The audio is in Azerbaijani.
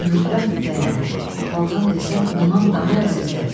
Zümrüddən də dəyərli, opaldan desən ondan daha əzizdir.